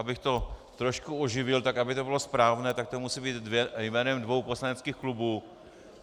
Abych to trošku oživil, tak aby to bylo správné, tak to musí být jménem dvou poslaneckých klubů.